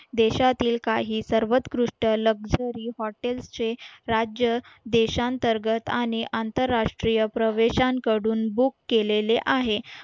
देशातील काही सर्वोत्कृष्ट लक्झरी हॉटेलचे राज्य देशांतर्गत आणि आंतरराष्ट्रीय प्रवेशांकडून बुक केलेले आहे